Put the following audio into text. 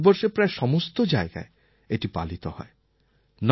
কিন্তু ভারতবর্ষের প্রায় সমস্ত জায়গায় এটি পালিত হয়